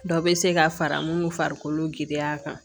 Dɔ bɛ se ka fara mun farikolo giriya kan